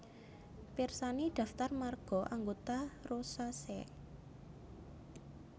Pirsani Daftar marga anggota Rosaceae